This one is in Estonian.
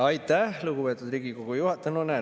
Aitäh, lugupeetud Riigikogu juhataja!